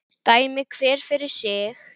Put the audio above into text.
Dæmi hver fyrir sig.